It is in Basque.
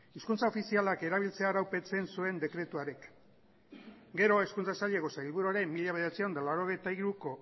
hizkuntza ofizialak erabiltzea araupetzen zuen dekretu hark gero hezkuntza saileko sailburua ere mila bederatziehun eta laurogeita hiruko